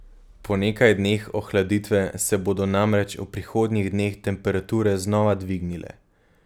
Po nekaj dneh ohladitve se bodo namreč v prihodnjih dneh temperature znova dvignile.